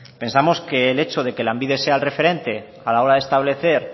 pensamos que el hecho de que lanbide sea el referente a la hora de establecer